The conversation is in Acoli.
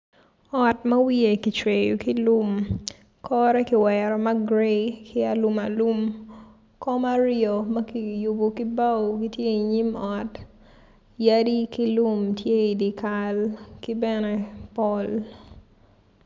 Ot ma wiye kicweyo ki lum kore ki wero ma grayi kom aryo ma kiyubo ki bao gitye i nyim ot yadi ki lum tye ki dye ka ki pol